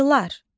Arılar.